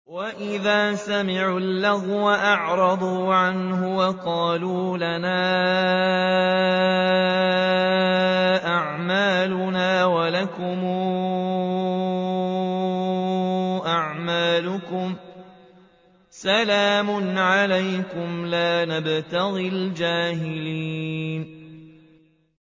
وَإِذَا سَمِعُوا اللَّغْوَ أَعْرَضُوا عَنْهُ وَقَالُوا لَنَا أَعْمَالُنَا وَلَكُمْ أَعْمَالُكُمْ سَلَامٌ عَلَيْكُمْ لَا نَبْتَغِي الْجَاهِلِينَ